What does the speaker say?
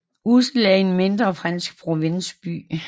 Ussel er en mindre fransk provinsby